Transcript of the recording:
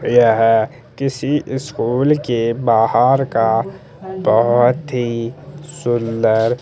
यहाँ किसी स्कूल के बाहर का बहोत ही सुंदर--